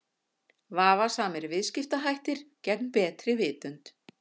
Vafasamir viðskiptahættir gegn betri vitund.